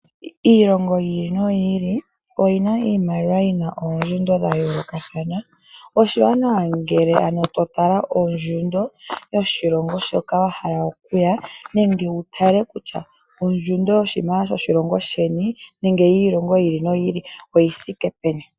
Iilongo yili noyili oyina iimaliwa yina oongushu dhayoolokathana , oshiwanawa ngele totala ongushu yoshilongo hoka wahala okuya nenge wutale kutya ongushu yoshimaliwa shoshilongo sheni nenge yiilongo yiili noyili oyithike peni.